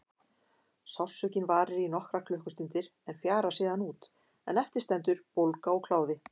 Sársaukinn varir í nokkrar klukkustundir en fjarar síðan út en eftir stendur bólga og kláði.